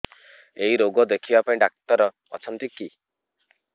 ଏଇ ରୋଗ ଦେଖିବା ପାଇଁ ଡ଼ାକ୍ତର ଅଛନ୍ତି କି